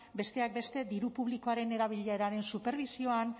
besteak beste diru publikoaren erabileraren superbisioan